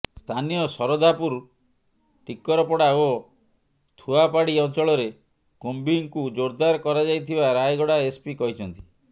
ସ୍ଥାନୀୟ ଶରଧାପୁର ଟିକରପଡ଼ା ଓ ଥୁଆପାଡ଼ି ଅଞ୍ଚଳରେ କୁମ୍ବିଂକୁ ଜୋରଦାର କରାଯାଇଥିବା ରାୟଗଡ଼ା ଏସପି କହିଛନ୍ତି